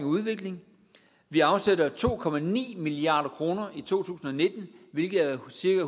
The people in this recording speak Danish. udvikling vi afsætter to milliard kroner i to tusind og nitten hvilket er cirka